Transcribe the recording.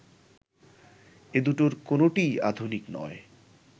এ-দুটোর কোনোটিই আধুনিক নয়